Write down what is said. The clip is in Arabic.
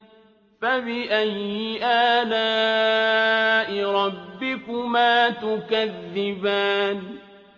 فَبِأَيِّ آلَاءِ رَبِّكُمَا تُكَذِّبَانِ